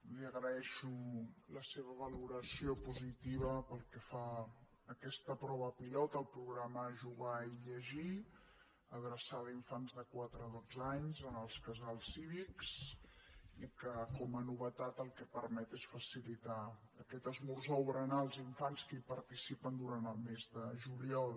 li agraeixo la se·va valoració positiva pel que fa a aquesta prova pi·lot el programa jugar i llegir adreçada a infants de quatre a dotze anys en els casals cívics i que com a novetat el que permet és facilitar aquest esmorzar o berenar als infants que hi participen durant el mes de juliol